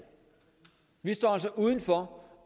vi står altså udenfor